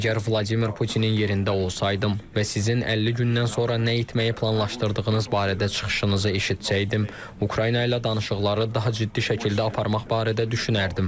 Əgər Vladimir Putinin yerində olsaydım və sizin 50 gündən sonra nə etməyi planlaşdırdığınız barədə çıxışınızı eşitsəydim, Ukrayna ilə danışıqları daha ciddi şəkildə aparmaq barədə düşünərdim.